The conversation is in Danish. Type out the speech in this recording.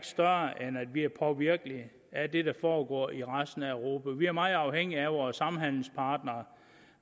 større end at vi er påvirkelige af det der foregår i resten af europa vi er meget afhængige af vores samhandelspartnere